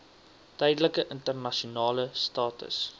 tydelike internasionale status